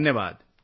धन्यवाद